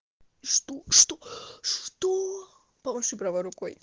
что что что помаши правой рукой